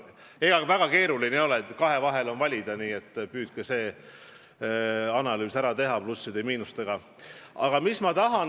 Ega see väga keeruline ei ole, kahe vahel on valida, nii et püüdke see analüüs plusse ja miinuseid kokku arvates ära teha.